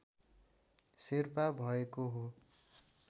शेर्पा भएको हो